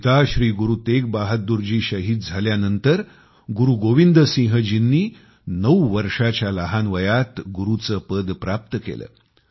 पिता श्री गुरू तेग बहादुर जी शहीद झाल्यानंतर गुरु गोबिंद सिंह जीं नी नऊ वर्षांच्या अल्पायुष्यात गुरुचे पद प्राप्त केले